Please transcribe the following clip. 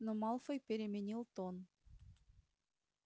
но малфой переменил тон